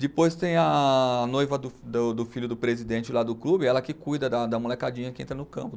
Depois tem a noiva do do filho do presidente lá do clube, ela que cuida da da molecadinha que entra no campo.